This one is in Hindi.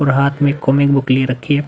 और हाथ में कॉमिक बुक ले रखी --